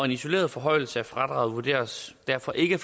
isoleret forhøjelse af fradraget vurderes derfor ikke